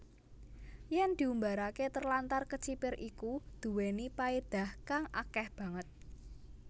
Yèn diumbaraké terlantar kecipir iku duwéni paédah kang akéh banget